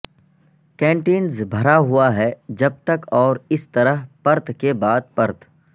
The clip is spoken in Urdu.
کنٹینر بھرا ہوا ہے جب تک اور اس طرح پرت کے بعد پرت